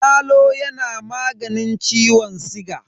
Yalo yana maganin ciwon siga.